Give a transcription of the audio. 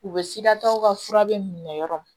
U bɛ sikasow ka furadenw minɛ dɔrɔn